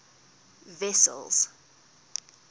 wessels